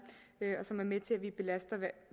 og som er med til at vi belaster